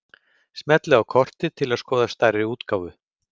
Smellið á kortið til að skoða stærri útgáfu.